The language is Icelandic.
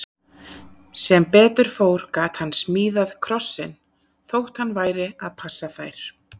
Sem betur fór gat hann smíðað krossinn, þótt hann væri að passa þær.